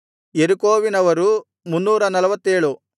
ಯೆರಿಕೋವಿನವರು 347